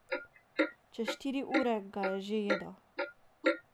Čez štiri ure ga je že jedel.